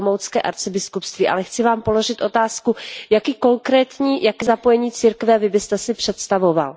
Olomoucké arcibiskupství, ale chci Vám položit otázku Jaké konkrétní zapojení církve Vy byste si představoval?